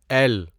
L